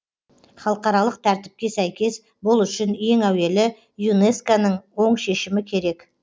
халықаралық тәртіпке сәйкес бұл үшін ең әуелі юнеско ның оң шешімі керек